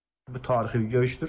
Bu tarixi görüşdür.